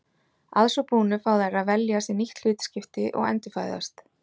að svo búnu fá þær að velja sér nýtt hlutskipti og endurfæðast